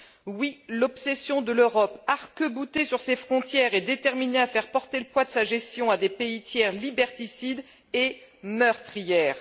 Oui, l'obsession de l'Europe, arc boutée sur ses frontières et déterminée à faire porter le poids de sa gestion à des pays tiers liberticides, est meurtrière.